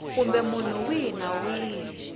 kumbe munhu wihi na wihi